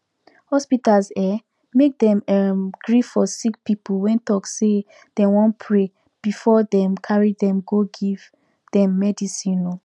hospitas eh make dem erm gree for sicki pipu wen talk say dem wan pray befor dem carry dem go give them midicine oh